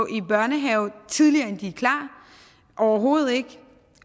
i børnehave tidligere end de er klar overhovedet ikke